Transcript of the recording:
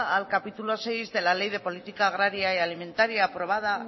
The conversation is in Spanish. al capítulo sexto de la ley de política agraria y alimentaria aprobada